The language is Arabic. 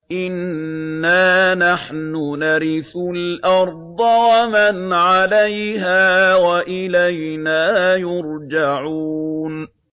إِنَّا نَحْنُ نَرِثُ الْأَرْضَ وَمَنْ عَلَيْهَا وَإِلَيْنَا يُرْجَعُونَ